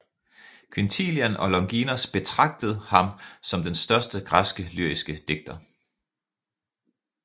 Quintilian og Longinos betragtet ham som den største græske lyriske digter